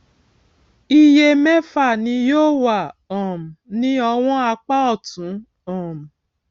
iye mẹfà ni yóò wà um ní ọwọn apá òtún um